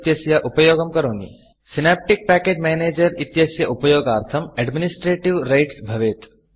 Synaptic package Managerसिनाप्टिक् package manager इत्यस्य उपयोगार्थं एड्मिनिस्ट्रेटिव Rightsएड्मिनिस्ट्रेटीव् रैट्स् भवेत्